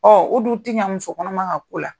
Ɔ o dun tɛ ɲɛ muso kɔnɔma ka ko la.